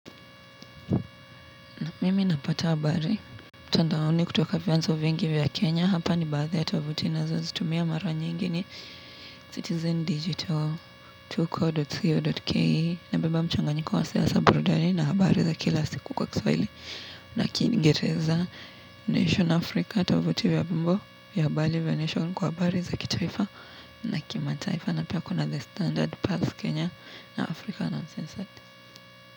Mimi napata habari mtandaoni kutoka vianzo vingi vya Kenya. Hapa ni baadhi ya tovuti nina zo zitumia mara nyingi ni CitizenDigital Tuko.co.ke Na beba mchanganyiko wa siasa burudani. Na habari za kila siku kwa kiswahili. Na kiingereza Nation Africa Tovuti vya mambo vya habari vya Nation. Kwa habari za kitaifa. Na kimataifa. Na pia kuna the standard pass Kenya. Na Africa na.